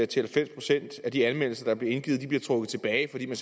til halvfems procent af de anmeldelser der bliver indgivet der bliver trukket tilbage fordi man